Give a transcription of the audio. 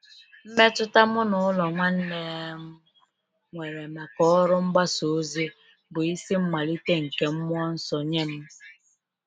Mmetụta mụ n’ụlọ nwanne m nwere maka ọrụ mgbasa ozi bụ isi mmalite nke mmụọ nsọ nye m.